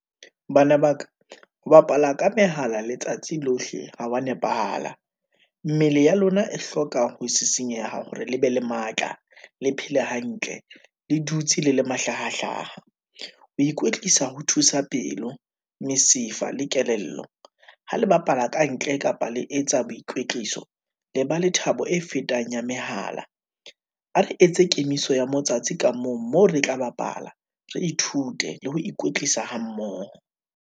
Bana ba ka, ho bapala ka mehala letsatsi lohle ho wa nepahala, mmele ya lona e hlokang ho senyeha hore le be le matla, le phele hantle, le dutse le le mahlahahlaha. Ho ikwetlisa ho thusa pelo, mesifa le kelello, ha le bapala kantle, kapa le etsa boikwetliso, le ba le thabo e fetang ya mehala. A re etse kemiso ya motsatsi ka mong, moo re tla bapala, re ithute, le ho ikwetlisa ha mmoho.